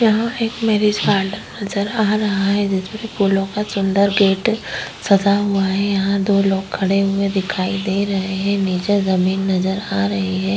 यहाँ एक marriage hall नजर आ रहा है जिस पर फूलों का सुंदर गेट सजा हुआ है। यहाँ दो लोग खड़े हुए दिखाई दे रहे हैं। नीचे जमीन नजर आ रही है।